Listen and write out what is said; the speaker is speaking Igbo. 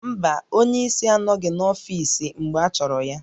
Mba, onye isi anọghị n'ọfiisi mgbe achọrọ ya